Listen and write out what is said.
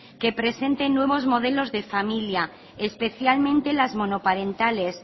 que presenten nuevos modelos de familia especialmente las monoparentales